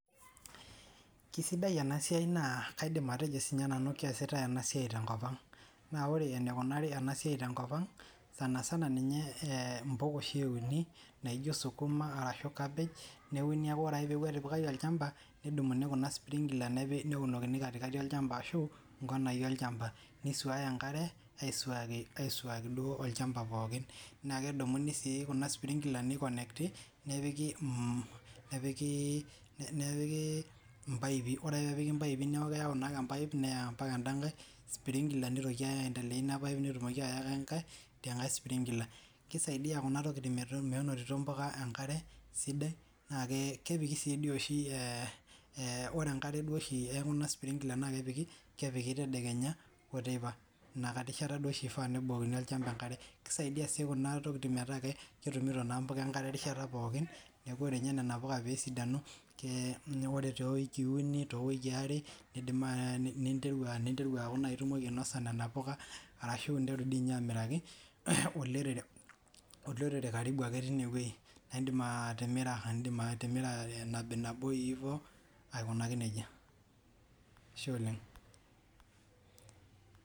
Kesidai ena siai naa kaidim atejo sii ninye nanu keesitae ena siai tenkop ang' naa ore eneikunari ena siai tenkop ang' sanisana ninye impuka oshi euni naijo sukuma arashu cabbage neuni ake oree peeku etipikaki olchampa nedumuni kuna sprinkler neunokini katikati olchampa aashu inkonaii olchampa neisuaya enkare aisuaki aisuaki duo olchampa pookin naa kedumuni sii kuna sprinkler nei connect ti nepikii napikii impaipi oree ake peepiki impaipi neeku keyau naa ake empaip neyau mpaka ennda nkae sprinkler neitoki naa ake ai endelea ina paip oeetumoki ayawa idiaa nkae sprinkler keisaidia kuna tokiting' menotito moaka enkare sidai naa kepikii dii oshi ore enkare duo oshii ee kuna sprinkler naa kepiki tedekenya oo teipa ina nkae rishata dii oshii eifaa peebukokini olchampa enkare keisaidia sii kuna tokiting' metaa ketumito naa impuka enkare erishata pookin neeku ore nyee nena puka peesidanu oree too wikii uni towikii are neidim ninteru aaku nayii itumoki ainasa nena puka arashu interu dii nye aitobirraki olorere karibu ake teine wei naa indim atimira iindim atimira nabinabo hivo aikunaki nejie, ashe oleng'.